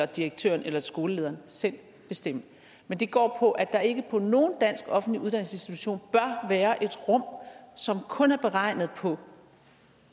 direktøren eller skolelederen selv bestemme men det går på at der ikke på nogen dansk offentlig uddannelsesinstitution bør være et rum som kun er beregnet på